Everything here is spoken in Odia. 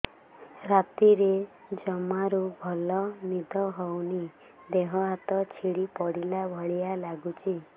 ରାତିରେ ଜମାରୁ ଭଲ ନିଦ ହଉନି ଦେହ ହାତ ଛିଡି ପଡିଲା ଭଳିଆ ଲାଗୁଚି